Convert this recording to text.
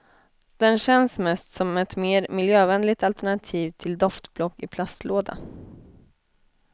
Den känns mest som ett mer miljövänligt alternativ till doftblock i plastlåda.